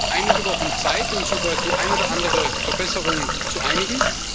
Wir haben also noch einige Wochen Zeit, uns über die eine oder andere Verbesserung zu einigen.